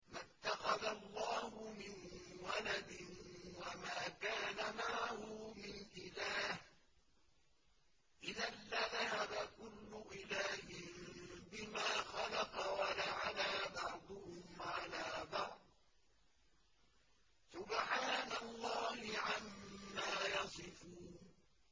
مَا اتَّخَذَ اللَّهُ مِن وَلَدٍ وَمَا كَانَ مَعَهُ مِنْ إِلَٰهٍ ۚ إِذًا لَّذَهَبَ كُلُّ إِلَٰهٍ بِمَا خَلَقَ وَلَعَلَا بَعْضُهُمْ عَلَىٰ بَعْضٍ ۚ سُبْحَانَ اللَّهِ عَمَّا يَصِفُونَ